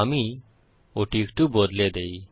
আমি ওটি একটু বদলে দেই